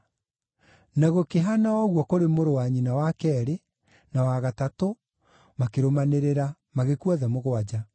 Na gũkĩhaana o ũguo kũrĩ mũrũ wa nyina wa keerĩ, na wa gatatũ, makĩrũmanĩrĩra, magĩkua othe mũgwanja.